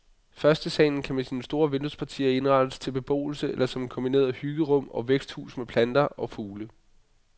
Førstesalen kan med sine store vinduespartier indrettes til beboelse eller som et kombineret hyggerum og væksthus med planter og fugle.